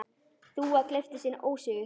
Þúfa gleypti sinn ósigur.